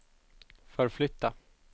förflytta